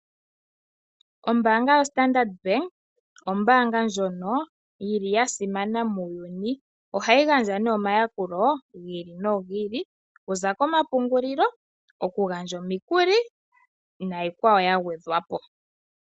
Ombaanga yo Standard bank Ombaanga ndjono yili ya simana muuyuni. Ohayi gandja ne omayakulo gi ili nogi ili okuza komapungulilo, oku gandja omikuli niikwawo ya gwedhwapo.